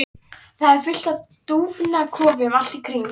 Það er fullt af dúfnakofum allt í kring.